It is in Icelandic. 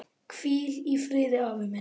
Hvíl í friði, afi minn.